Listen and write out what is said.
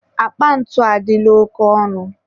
akpa ntu adịla oke ọnụ.